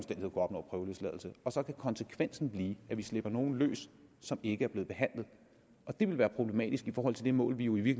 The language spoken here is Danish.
opnå prøveløsladelse så kan konsekvensen blive at vi slipper nogle løs som ikke er blevet behandlet og det vil være problematisk i forhold til det mål vi jo i